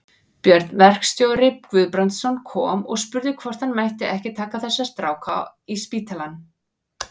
Björn verkstjóri Guðbrandsson kom og spurði hvort hann mætti ekki taka þessa stráka í spítalann.